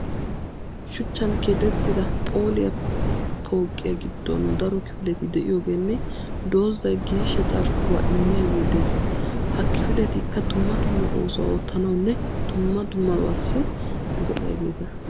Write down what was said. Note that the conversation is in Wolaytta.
Shuchchan keexettidaa phooliya pooqiya giddon daro kifileti de'iyoogeenne dozzay geeshsha carkkuwa immiyage des. Ha kifiletikka dumma dumma oosuwa oottanawunne dumma dummabaassi go'iyageeta.